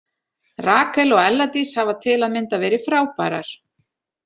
Rakel og Ella Dís hafa til að mynda verið frábærar.